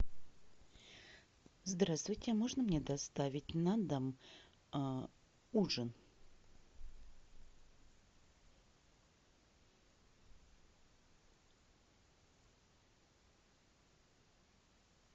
здравствуйте можно мне доставить на дом ужин